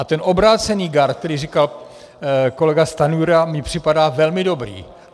A ten obrácený gard, který říkal kolega Stanjura, mi připadá velmi dobrý.